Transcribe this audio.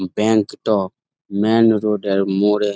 bank -টা main road -এর মোড়ে--